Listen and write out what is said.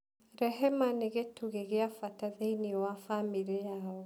Rehema nĩ gĩtugĩ gĩa bata thĩinĩ wa bamirĩ yao.